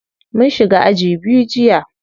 Mun shiga aji biyu jiya.